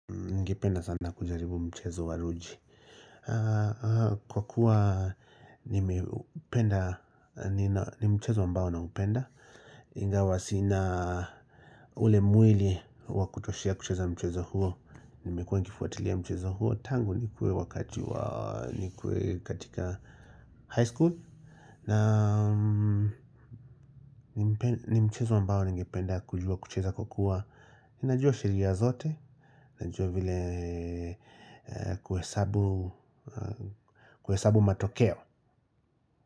niNgependa sana kujaribu mchezo wa ruji. Kwa kuwa ni mchezo ambao naupenda. iNgawa sina ule mwili wa kutoshea kucheza mchezo huo. Nimekuwa nkifuatilia mchezo huo. Tangu nikue wakati wa nikue katika high school. Na ni mchezo ambao ningependa kujua kucheza kwa kua. Najua sheria zote Najua vile kuhesabu matokeo.